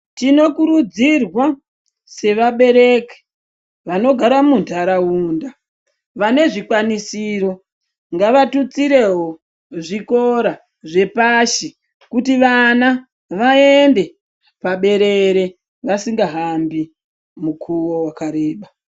Tinokurudzirwa sevabereki vanogara muntaraunda vane zvikwanisiro ngavatutsirewo zvikora zvepashi kutivana vaende paberere vasingahambi mukuwo wakareba.